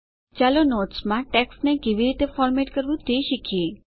ચાલો નોટ્સ માં ટેક્સ્ટને કેવી રીતે ફોરમેટ કરવું તે શીખીએ